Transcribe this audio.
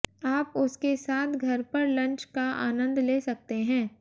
आप उसके साथ घर पर लंच का आनन्द ले सकते हैं